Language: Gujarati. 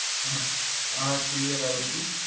હા હા clear આવી ગયું